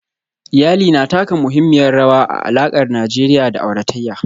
Iyali na taka muhimmiyar rawa a alakar Najeriya da auratayya